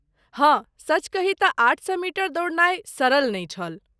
हाँ, सच कही तँ आठ सए मीटर दौड़नाय सरल नहि छल।